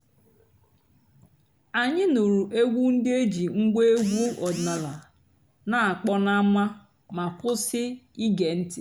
ányị́ nụ́rụ́ ègwú ndị́ é jì ngwá ègwú ọ̀dị́náàlà nà-àkpọ́ n'ámá má kwụ́sị́ íge ǹtị́.